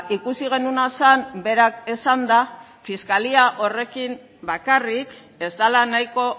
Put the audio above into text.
ikusi genuena zen berak esanda fiskalia horrekin bakarrik ez dela nahiko